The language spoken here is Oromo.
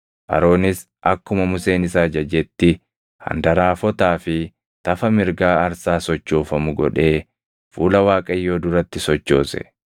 Aroonis akkuma Museen isa ajajetti handaraafotaa fi tafa mirgaa aarsaa sochoofamu godhee fuula Waaqayyoo duratti sochoose.